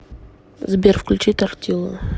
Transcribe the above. сбер включи тортиллу